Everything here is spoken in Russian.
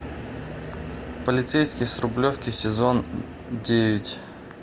полицейский с рублевки сезон девять